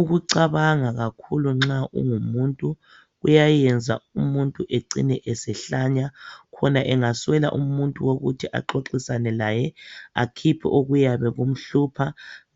Ukucabanga kakhulu nxa ungumuntu, kuyayenza umuntu ecine esehlanya, khona angaswela umuntu wokuthi axoxisane laye, akhiphe kuyabe kumhlupha,